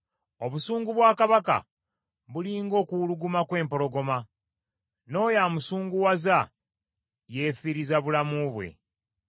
Obusungu bwa kabaka buli ng’okuwuluguma kw’empologoma, n’oyo amusunguwaza yeefiiriza bulamu bwe.